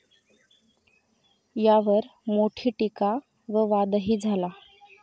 यावर मोठी टिका व वाद ही झाला.